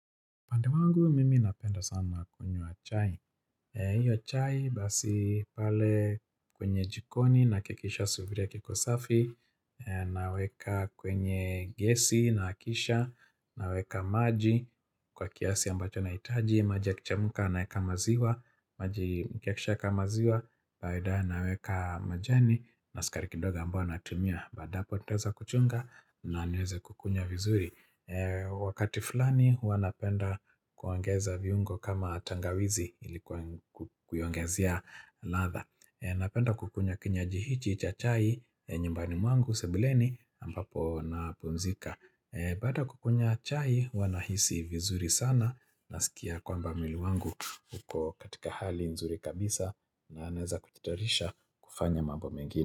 Upande wangu, mimi napenda sana kunywa chai. Hiyo chai, basi pale kwenye jikoni nahakikisha sufura kikosafi, naweka kwenye gesi nahakisha, naweka maji kwa kiasi ambacho na nahitaji, maji yakichemka naeka maziwa, maji yakishayaeka maziwa, kawaida naweka majani na sukari kidogo ambayo natumia. Baada ya hapo, nitaweza kuchunga na niweze kukunywa vizuri. Wakati fulani huwa napenda kuongeza viungo kama tangawizi ili kuiongezia ladha Napenda kukunywa kinywaji hichi cha chai nyumbani mwangu sebuleni ambapo napumzika Baada ya kukunywa chai huwa nahisi vizuri sana naskia kwamba mwili wangu upo katika hali nzuri kabisa na naeza kujitayarisha kufanya mambo mengine.